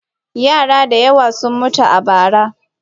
Yara da yawa sun mutu a bara.